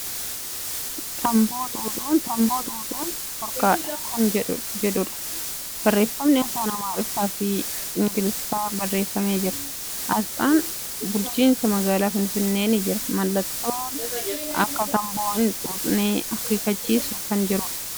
Tamboo xuuxun dhoorkadha kan jedhuudha. Barreeffamni afaan Amaariffaa fi Ingiliffaa barreeffamee jira. Aasxan bulchiinsa magaalaa Finfinnee ni jira. Mallattoon akka tamboo hin xuuxne akeekkachiisu kan jiruudha. Haalluu diiman ni jira.